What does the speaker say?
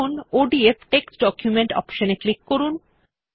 এখন ODF text document option এ click করুন